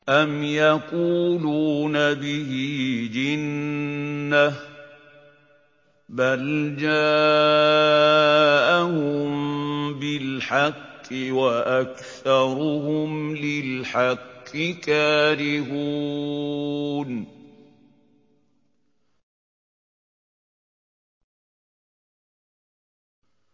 أَمْ يَقُولُونَ بِهِ جِنَّةٌ ۚ بَلْ جَاءَهُم بِالْحَقِّ وَأَكْثَرُهُمْ لِلْحَقِّ كَارِهُونَ